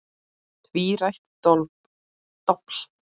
Tvírætt dobl.